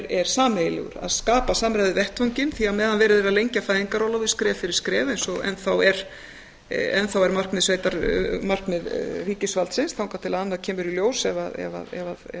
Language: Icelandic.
er sameiginlegur að skapa samræðuvettvanginn því að meðan verið er að lengja fæðingarorlofið skref fyrir skref eins og enn þá er markmið ríkisvaldsins þangað til annað kemur í ljós ef